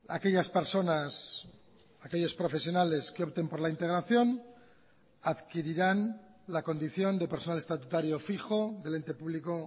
aquellas personas aquellos profesionales que opten por la integración adquirirán la condición de personal estatutario fijo del ente público